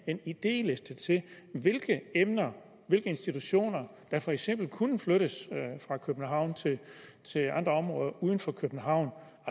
en idéliste til hvilke institutioner der for eksempel kunne flyttes fra københavn til andre områder uden for københavn